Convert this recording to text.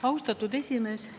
Austatud esimees!